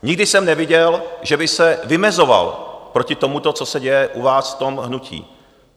Nikdy jsem neviděl, že by se vymezoval proti tomu, co se děje u vás v tom hnutí.